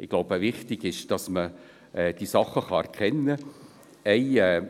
Ich glaube, wichtig ist, dass man die Dinge erkennen